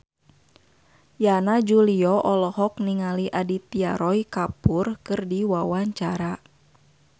Yana Julio olohok ningali Aditya Roy Kapoor keur diwawancara